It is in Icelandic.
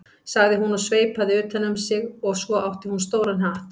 sem hún sveipaði utan um sig og svo átti hún stóran hatt.